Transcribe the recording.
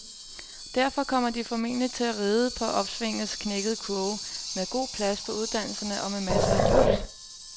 Derfor kommer de formentlig til at ride på opsvingets knækkede kurve, med god plads på uddannelserne og med masser af jobs.